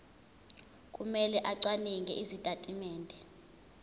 kumele acwaninge izitatimende